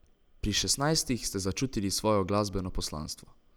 Pri šestnajstih ste začutili svoje glasbeno poslanstvo.